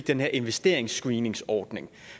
den her investeringsscreeningsordning